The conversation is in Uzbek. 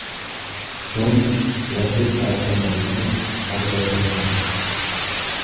So‘ng Lacetti avtomobili ag‘darilgan.